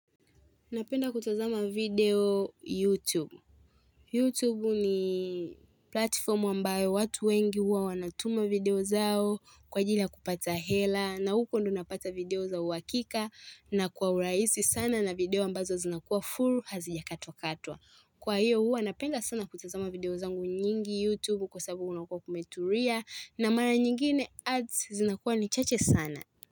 Napenda kutazama video YouTube. YouTube ni platformu ambayo watu wengi huwa wanatuma video zao kwa ajili ya kupata hela na huko ndo napata video zao uhakika na kwa urahisi sana na video ambazo zinakuwa full hazijakatwa katwa. Kwa hiyo huwa napenda sana kutazama video zangu nyingi YouTube kwa sababu unakuwa kumetulia na mara nyingine ads zinakuwa ni chache sana.